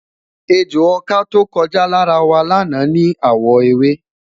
ẹjọ ọkà tọko já lára wa lana ni awọ ewé